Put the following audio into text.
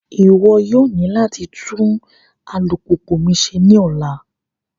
Iwọ yoo ni lati tun alupupu mi ṣe ni ọla!